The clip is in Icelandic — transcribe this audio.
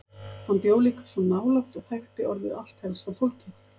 Hann bjó líka svo nálægt og þekkti orðið allt helsta fólkið.